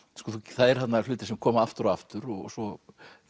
það eru þarna hlutir sem koma aftur og aftur og svo